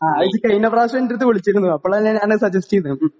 നീ ഇത് കഴിഞ്ഞ പ്രാവശ്യം എൻറെ അടുത്ത് വിളിച്ചിരുന്നു. അപ്പോൾ അല്ലേ ഞാൻ സജസ്റ്റ് ചെയ്തത്?